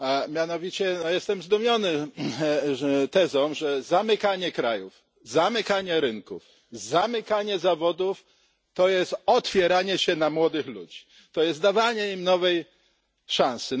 Mianowicie jestem zdumiony tezą, że zamykanie krajów, zamykanie rynków, zamykanie zawodów to jest otwieranie się na młodych ludzi, to jest dawanie im nowej szansy.